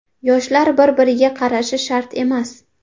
Yoshlar bir-biriga qarashi shart emas.